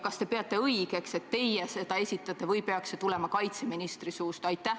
Kas te peate õigeks, et teie seda esitate või peaks see tulema kaitseministri suust?